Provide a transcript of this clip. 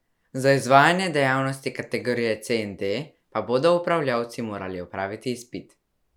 Za izvajanje dejavnosti kategorije C in D pa bodo upravljavci morali opraviti izpit.